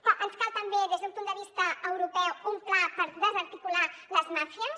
que ens cal també des d’un punt de vista europeu un pla per desarticular les màfies